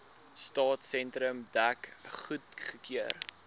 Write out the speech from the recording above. stadsentrum dek goedgekeur